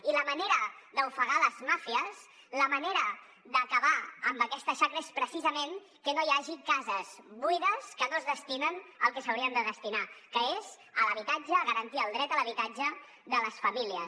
i la manera d’ofegar les màfies la manera d’acabar amb aquesta xacra és precisament que no hi hagi cases buides que no es destinen al que s’haurien de destinar que és a l’habitatge a garantir el dret a l’habitatge de les famílies